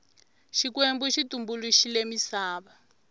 xikwembu xi tumbuluxile misava